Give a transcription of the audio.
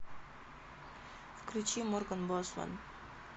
включи морган босман